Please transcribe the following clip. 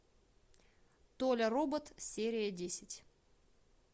толя робот серия десять